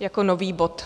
jako nový bod.